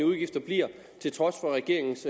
udgifter bliver til trods for regeringens